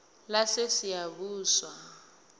lasesiyabuswa